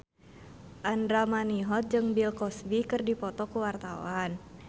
Andra Manihot jeung Bill Cosby keur dipoto ku wartawan